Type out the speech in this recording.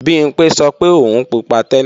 Bimpé sọ pé òun pupa tẹ́lẹ̀